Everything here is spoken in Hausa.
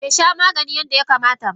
Besha maganin yadda ya kamata ba.